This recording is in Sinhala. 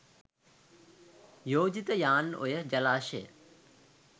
යෝජිත යාන් ඔය ජලාශය